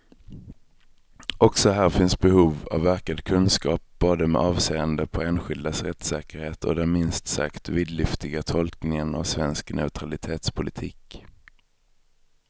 Också här finns behov av ökad kunskap, både med avseende på enskildas rättssäkerhet och den minst sagt vidlyftiga tolkningen av svensk neutralitetspolitik.